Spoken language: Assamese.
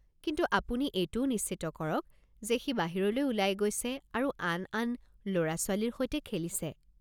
কিন্তু আপুনি এইটোও নিশ্চিত কৰক যে সি বাহিৰলৈ ওলাই গৈছে আৰু আন ল'ৰা-ছোৱালীৰ সৈতে খেলিছে।